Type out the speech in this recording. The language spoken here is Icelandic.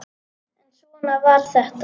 En svona var þetta.